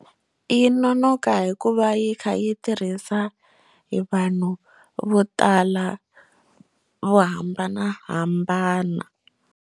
Yi nonoka hikuva yi kha yi tirhisa hi vanhu vo tala vo hambanahambana.